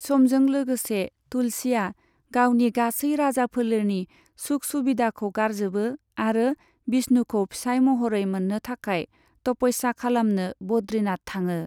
समजों लोगोसे, तुलसीआ गावनि गासै राजाफेलेरनि सुख सुबिदाखौ गारजोबो आरो बिष्णुखौ फिसाइ महरै मोननो थाखाय तपस्या खालामनो बद्रीनाथ थाङो।